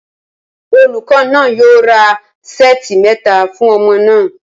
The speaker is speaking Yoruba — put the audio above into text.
Olùkọ́ náà yóò ra ṣẹ́ẹ̀tì mẹ́ta fún ọmọ náà